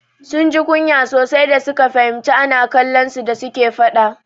Sun ji kunya sosai da suka fahimci ana kallon su da suke faɗa.